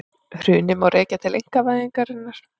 Hrunið má rekja til einkavæðingarinnar